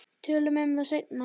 Tölum um það seinna.